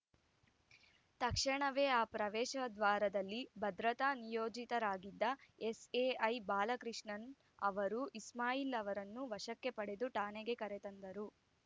ತಕ್ಷಣವೇ ಆ ಪ್ರವೇಶ ದ್ವಾರದಲ್ಲಿ ಭದ್ರತಾ ನಿಯೋಜಿತರಾಗಿದ್ದ ಎಸ್‌ಎಐ ಬಾಲಕೃಷ್ಣ ಅವರು ಇಸ್ಮಾಯಿಲ್‌ ಅವರನ್ನು ವಶಕ್ಕೆ ಪಡೆದು ಠಾಣೆಗೆ ಕರೆತಂದರು